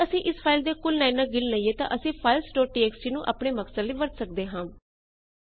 ਜੇ ਅਸੀ ਇਸ ਫਾਈਲ ਦੀਆਂ ਕੁੱਲ ਲਾਈਨਾ ਗਿਣ ਲਈਏ ਤਾਂ ਅਸੀ ਫਾਈਲਜ਼ ਡੋਟ ਟੀਐਕਸਟੀ ਨੂੰ ਆਪਣੇ ਮਕਸਦ ਲਈ ਵਰਤ ਸਕਦੇ ਹਾਂ